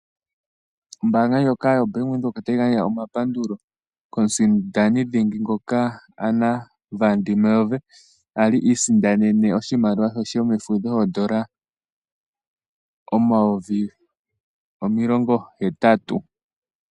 Ombaanga ndjoka yoBank Windhoek, otayi gandja omapandulo komusindani dhingi ngoka Anna van der Merwe, ngoka a li isindanene oshimaliwa she shoondola omayovi omilongo hetatu.